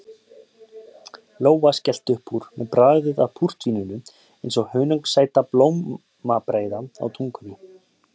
Lóa skellti upp úr með bragðið af púrtvíninu eins og hunangssæta blómabreiðu á tungunni.